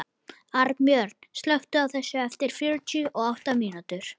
Arnbjörn, slökktu á þessu eftir fjörutíu og átta mínútur.